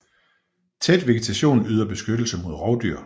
Tæt vegetation yder beskyttelse mod rovdyr